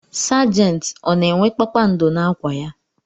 Sajenti ọ na-enwe kpakpando n'akwa ya?